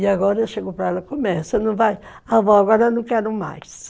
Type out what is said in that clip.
E agora chegou para ela, começa, não vai... Avó, agora eu não quero mais.